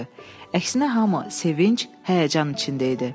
Əksinə hamı sevinc, həyəcan içində idi.